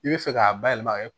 I bɛ fɛ k'a bayɛlɛma ka kɛ